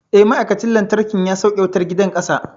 Eh, ma'aikacin lantarkin ya sauke wutar gidan ƙasa.